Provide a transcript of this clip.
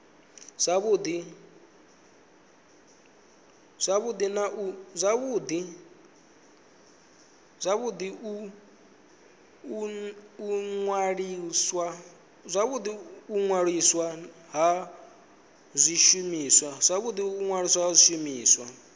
zwavhudi u ṅwaliswa ha zwishumiswa